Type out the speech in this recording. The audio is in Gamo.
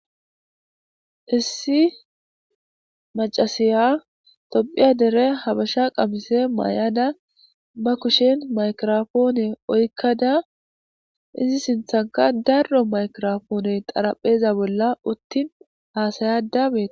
issi macasiya tophiya dere habasha qamise maay7ada ba kushen maykirofoone oykkada izi sinthanka darro maykirofoone qarapheza bolla uttin haasayada beee